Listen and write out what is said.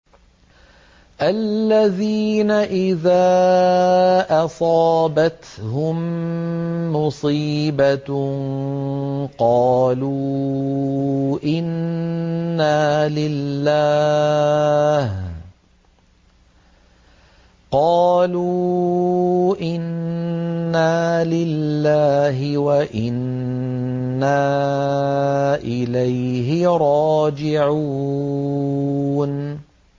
الَّذِينَ إِذَا أَصَابَتْهُم مُّصِيبَةٌ قَالُوا إِنَّا لِلَّهِ وَإِنَّا إِلَيْهِ رَاجِعُونَ